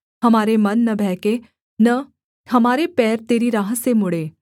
हमारे मन न बहके न हमारे पैर तरी राह से मुड़ें